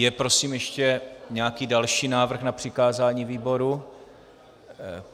Je prosím ještě nějaký další návrh na přikázání výboru?